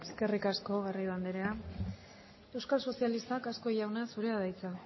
eskerrik asko garrido anderea euskal sozialistak azkue jauna zurea da hitza